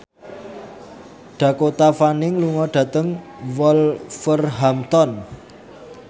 Dakota Fanning lunga dhateng Wolverhampton